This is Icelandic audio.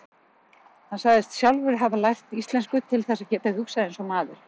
Hann sagðist sjálfur hafa lært íslensku til þess að geta hugsað eins og maður